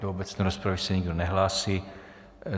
Do obecné rozpravy se nikdo nehlásí.